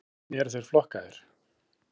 Hvernig eru þeir flokkaðir?